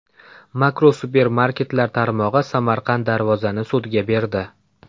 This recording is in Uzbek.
Makro supermarketlar tarmog‘i Samarqand Darvoza’ni sudga berdi.